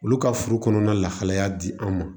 Olu ka furu kɔnɔna lahalaya di an ma